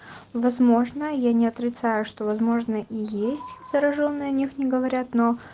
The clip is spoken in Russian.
возможно я не отрицаю что возможно и есть заражённые о них не говорят но